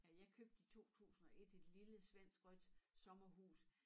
Ja jeg købte i 2001 et lille svensk rødt sommerhus